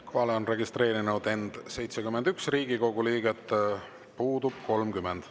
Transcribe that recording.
Kohalolijaks on end registreerinud 71 Riigikogu liiget, puudub 30.